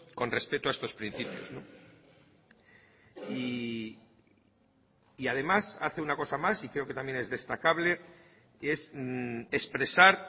con respeto a estos principios y además hace una cosa más y creo que también es destacable que es expresar